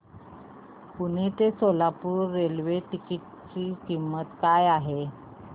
पुणे ते Solapur railway ticket ची किंमत काय आहे